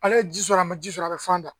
Ale ye ji sɔrɔ a ma ji sɔrɔ a bɛ fan da